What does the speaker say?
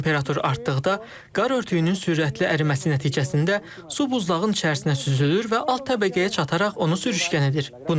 Temperatur artdıqda qar örtüyünün sürətli əriməsi nəticəsində su buzlağın içərisinə süzülür və alt təbəqəyə çataraq onu sürüşkən edir.